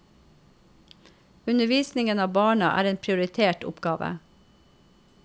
Undervisningen av barna er en prioritert oppgave.